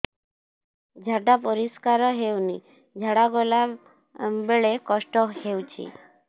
ଝାଡା ପରିସ୍କାର ହେଉନି ଝାଡ଼ା ଗଲା ବେଳେ କଷ୍ଟ ହେଉଚି